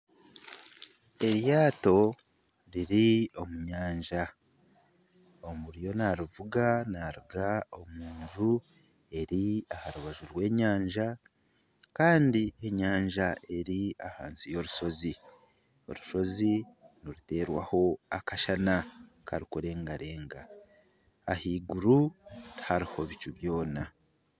Eryato riri omu nyanja oriyo narivuga naruga omu nju eri aha rubaju rw'enyanja kandi enyanja eri ahansi y'orushozi orushozi niruteerwaho akashana karikurengarenga ahaiguru tihariho bicu byona